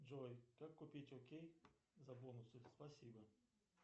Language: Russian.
джой как купить окей за бонусы спасибо